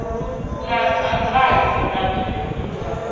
na dzangano ḽa thuso sa